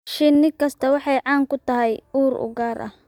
Shinni kasta waxay caan ku tahay ur u gaar ah.